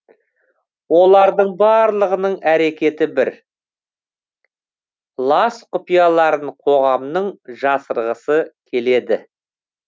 олардың барлығының әрекеті бір лас құпияларын қоғамның жасырғысы келеді